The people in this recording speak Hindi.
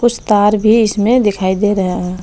कुछ तार भी इसमें दिखाई दे रहे है।